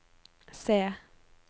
C